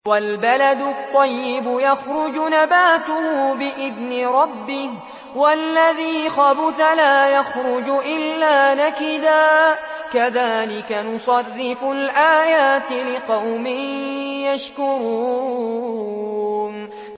وَالْبَلَدُ الطَّيِّبُ يَخْرُجُ نَبَاتُهُ بِإِذْنِ رَبِّهِ ۖ وَالَّذِي خَبُثَ لَا يَخْرُجُ إِلَّا نَكِدًا ۚ كَذَٰلِكَ نُصَرِّفُ الْآيَاتِ لِقَوْمٍ يَشْكُرُونَ